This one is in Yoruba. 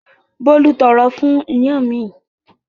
Bólú tọrọ fún iyán mi.